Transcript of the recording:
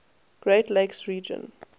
great lakes region